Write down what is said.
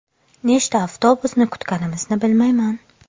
Nechta avtobusni kutganimizni bilmayman.